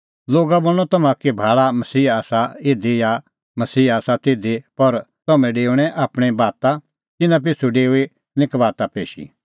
लोगा बोल़णअ तम्हां का कि भाल़ा मसीहा आसा इधी या मसीहा आसा तिधी पर तम्हैं डेओऐ आपणीं बाता तिन्नां पिछ़ू डेऊई निं कबाता पेशी